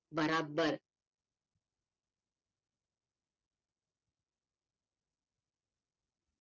बराबर